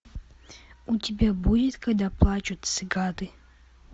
у тебя будет когда плачут цикады